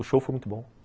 O show foi muito bom.